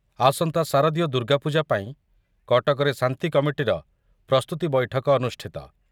ଆସନ୍ତା ଶାରଦୀୟ ଦୁର୍ଗାପୂଜା ପାଇଁ କଟକରେ ଶାନ୍ତିକମିଟିର ପ୍ରସ୍ତୁତି ବୈଠକ ଅନୁଷ୍ଠିତ